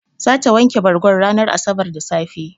Zata wanke bargon ranar asabar da safe.